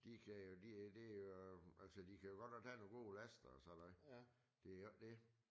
De kan jo det jo øh altså de kan jo godt nok tage nogle gode laster og sådan noget det jo ikke det